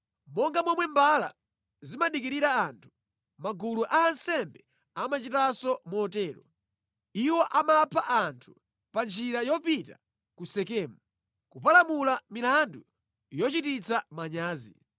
Monga momwe mbala zimadikirira anthu, magulu a ansembe amachitanso motero; iwo amapha anthu pa njira yopita ku Sekemu, kupalamula milandu yochititsa manyazi.